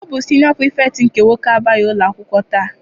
Ọ bụ siniọ Pirifetktị nke nwoke abịaghị akwụkwọ taa.